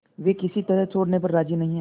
वे किसी तरह छोड़ने पर राजी नहीं